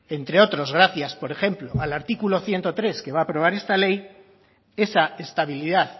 entre otros gracias por ejemplo al artículo ciento tres que va a aprobar esta ley esa estabilidad